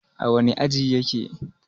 a wane aji yake?